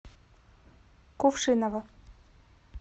кувшиново